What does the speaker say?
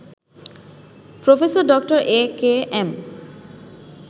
Professor ড. AKM